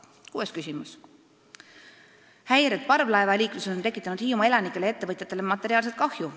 Kuues küsimus: "Häired parvlaevaliikluses on tekitanud Hiiumaa elanikele ja ettevõtjatele materiaalset kahju.